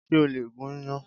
Ṣé o lè gún yán?